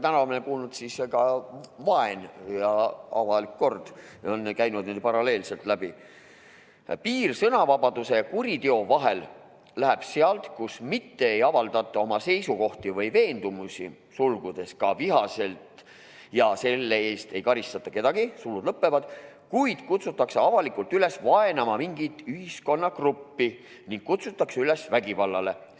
Kaja Kallas ütles, et piir sõnavabaduse ja kuriteo vahel läheb sealt, kus mitte ei avaldata oma seisukohti või veendumusi , vaid kutsutakse avalikult üles vaenama mingit ühiskonnagruppi ning kutsutakse üles vägivallale.